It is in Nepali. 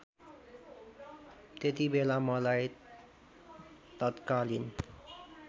त्यतिबेला मलाई तत्कालीन